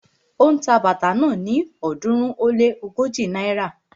Ó ń ta bàtà náà ni ọ̀ọ́dúnrún ó lé ógójì náírà